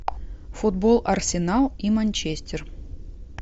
футбол арсенал и манчестер